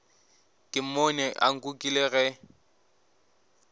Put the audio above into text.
ke mmone a nkukile ge